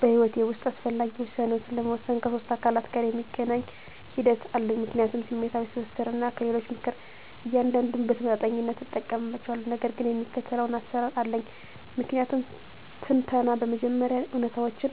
በሕይወቴ ውስጥ አስፈላጊ ውሳኔዎችን ለመወሰን ከሶስት አካላት ጋር የሚገናኝ ሂደት አለኝ፦ ምክንያታዊነት፣ ስሜታዊ ትስስር፣ እና ከሌሎች ምክር። እያንዳንዱን በተመጣጣኝነት እጠቀምባቸዋለሁ፣ ነገር ግን የሚከተለው አሰራር አለኝ። ምክንያታዊ ትንተና በመጀመሪያ እውነታዎችን